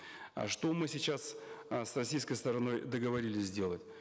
э что мы сейчас э с российской стороной договорились сделать